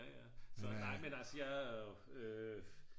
nej men altså jeg er jo